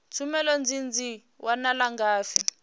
tshumelo idzi dzi wanala ngafhi